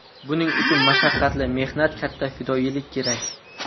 Buning uchun mashaqqatli mehnat, katta fidoyilik kerak.